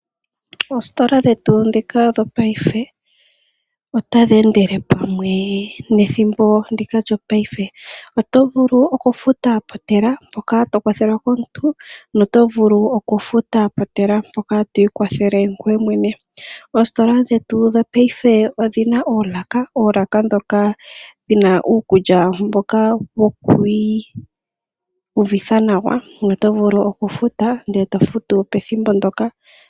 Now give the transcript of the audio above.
Oositola dhetu ndhika dhopaife otadhi endele pamwe nethimbo ndika lyopaife. Oto vulu okufuta peshina mpoka to kwathelwa komuntu noto vulu okufuta peshina mpoka to ikwathele ngoye mwene. Oositola dhetu dhopaife odhi na oolaka, oolaka ndhoka dhi na uukulya mboka wo ku iyuvitha nawa noto vulu okufuta to futu pethimbo ndyoka.